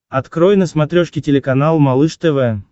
открой на смотрешке телеканал малыш тв